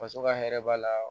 Faso ka hɛrɛ b'a la